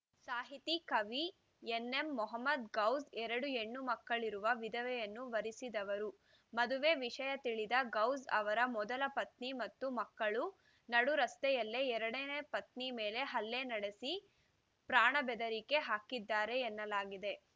ಸಾಹಿತಿ ಕವಿ ಎನ್‌ಎಂಮೋಹಮ್ಮದ್‌ ಗೌಸ್‌ ಎರಡು ಹೆಣ್ಣು ಮಕ್ಕಳಿರುವ ವಿಧವೆಯನ್ನು ವರಿಸಿದವರು ಮದುವೆ ವಿಷಯ ತಿಳಿದ ಗೌಸ್‌ ಅವರ ಮೊದಲ ಪತ್ನಿ ಮತ್ತು ಮಕ್ಕಳು ನಡುರಸ್ತೆಯಲ್ಲೇ ಎರಡನೇ ಪತ್ನಿ ಮೇಲೆ ಹಲ್ಲೆ ನಡೆಸಿ ಪ್ರಾಣಬೆದರಿಕೆ ಹಾಕಿದ್ದಾರೆ ಎನ್ನಲಾಗಿದೆ